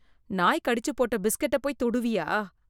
நாய் கடிச்சுப்போட்ட பிஸ்கட்டை போய் தொடுவியா?